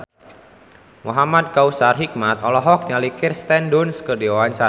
Muhamad Kautsar Hikmat olohok ningali Kirsten Dunst keur diwawancara